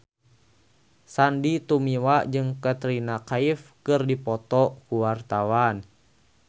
Sandy Tumiwa jeung Katrina Kaif keur dipoto ku wartawan